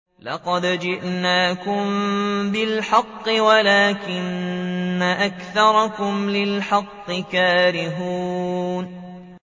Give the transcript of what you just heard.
لَقَدْ جِئْنَاكُم بِالْحَقِّ وَلَٰكِنَّ أَكْثَرَكُمْ لِلْحَقِّ كَارِهُونَ